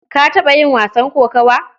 Ka taɓa yin wasan kokawa?